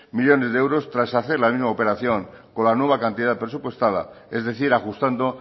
millónes de euros tras hacer la misma operación con la nueva cantidad presupuestada es decir ajustando